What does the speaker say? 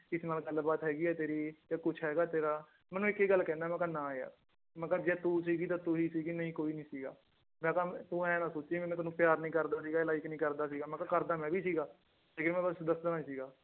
ਕਿਸੇ ਨਾਲ ਗੱਲਬਾਤ ਹੈਗੀ ਹੈ ਤੇਰੀ ਕੁਛ ਹੈਗਾ ਤੇਰਾ ਮੈਂ ਉਹਨੂੰ ਇੱਕ ਹੀ ਗੱਲ ਕਹਿਨਾ ਮੈਂ ਕਿਹਾ ਨਾ ਯਾਰ ਮੈਂ ਕਿਹਾ ਜੇ ਤੂੰ ਸੀਗੀ ਤਾਂ ਤੂੰ ਹੀ ਸੀਗੀ ਨਹੀਂ ਕੋਈ ਨੀ ਸੀਗਾ ਮੈਂ ਕਿਹਾ ਤੁੰ ਇਉਂ ਨਾ ਸੋਚੀ ਮੈਂ ਤੈਨੂੰ ਪਿਆਰ ਨੀ ਕਰਦਾ ਸੀਗਾ ਜਾਂ like ਨੀ ਕਰਦਾ ਸੀਗਾ ਕਰਦਾ ਮੈਂ ਵੀ ਸੀਗਾ ਲੇਕਿੰਨ ਮੈਂ ਬਸ ਦੱਸਦਾ ਨੀ ਸੀਗਾ